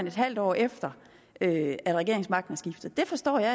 et halvt år efter at regeringsmagten er skiftet det forstår jeg